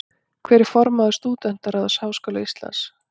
Hver er formaður Stúdentaráðs Háskóla Íslands?